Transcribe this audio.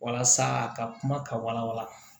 Walasa a ka kuma ka wala wala